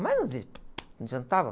Mas não, não adiantava.